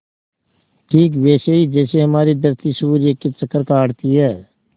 ठीक वैसे ही जैसे हमारी धरती सूर्य के चक्कर काटती है